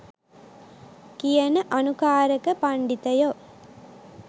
කියන අනුකාරක පණ්ඩිතයො.